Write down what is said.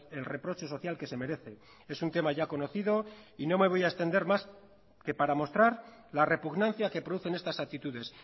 el reproche social que se merece es un tema ya conocido y no me voy a extender más que para mostrar la repugnancia que producen estas actitudes